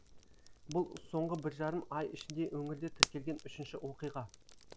бұл соңғы бір жарым ай ішінде өңірде тіркелген үшінші оқиға